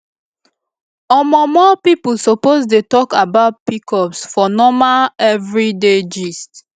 omo more people suppose dey talk about pcos for normal everyday gist